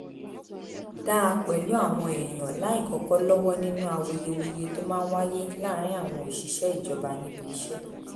dáa pẹ̀lú àwọn èèyàn láìkọ́kọ́ lọ́wọ́ nínú awuyewuye tó máa ń wáyé láàárín àwọn òṣìṣẹ́ ìjọba níbi iṣẹ́